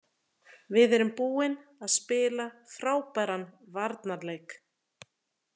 Við erum búin að spila frábæran varnarleik.